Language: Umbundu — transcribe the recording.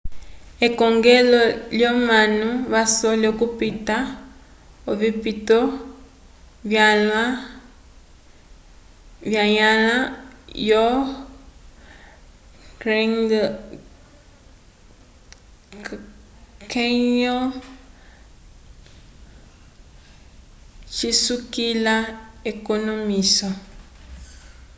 ekongelo lyomanu vasole okupita ovipito vanyãla yo grand canyon cisukila ekonomwiso